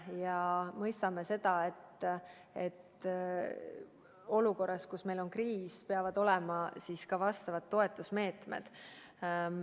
Me mõistame, et olukorras, kus meil on kriis, peavad olema ka vajalikud toetusmeetmed.